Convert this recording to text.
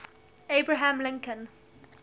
abraham lincoln